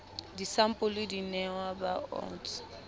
disampole di nehwa ba osts